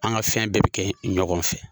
An ka fɛn bɛɛ be kɛ ɲɔgɔn fɛ.